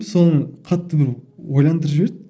соңы қатты бір ойландырып жіберді